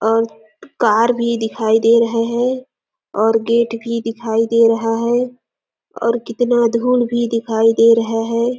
और कार भी दिखाई दे रहा है और गेट भी दिखाई दे रहा है और कितना धूल भी दिखाई दे रहा है।